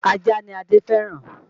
Ajá ni Adé fẹ́ràn